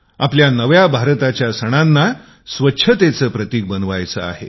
आपल्या नव्या भारताच्या सणानां स्वच्छतेचे प्रतिक बनवायचे आहे